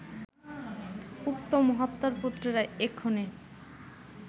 উক্ত মহাত্মার পুত্রেরা এক্ষণে